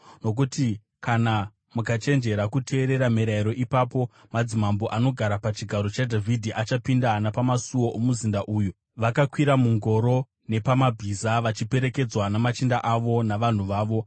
Nokuti kana mukachenjerera kuteerera mirayiro, ipapo madzimambo anogara pachigaro chaDhavhidhi achapinda napamasuo omuzinda uyu, vakakwira mungoro nepamabhiza vachiperekedzwa namachinda avo navanhu vavo.